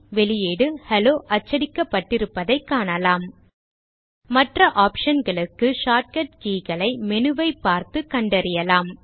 வெளியீடு ஹெல்லோ அச்சடிக்கப்பட்டிருப்பதைக் காணலாம் மற்ற optionகளுக்கு ஷார்ட்கட் keyகளை menu ஐ பார்த்து கண்டறியலாம்